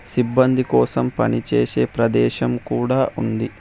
సిబ్బంది కోసం పని చేసే ప్రదేశం కూడా ఉంది.